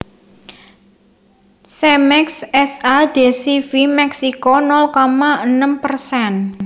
Cemex S A de C V Meksiko nol koma enem persen